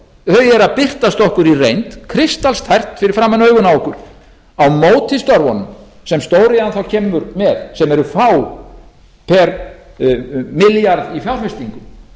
að birtast okkur í reynd kristallstært fyrir framan augun á okkur á móti störfunum sem stóriðjan þá kemur með sem eru fá pr milljarð í fjárfestingum